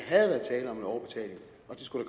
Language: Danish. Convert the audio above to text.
skulle